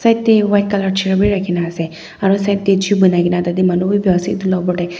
side dey white colour chair wi rakhina asey aro side deh chui banai gina tadeh manu wi bua asey aro etu la opor deh--